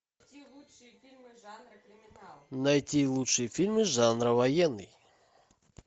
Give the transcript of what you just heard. найти лучшие фильмы жанра военный